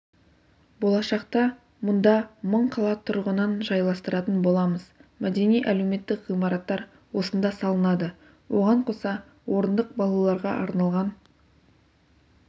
болашақта мұнда мың қала тұрғынын жайластыратын боламыз мәдени-әлеуметтік ғимараттар осында салынады оған қоса орындық балаларға арналған